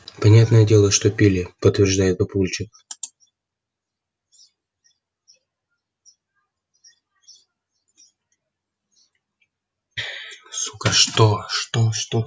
понятное дело что пили подтверждает папульчик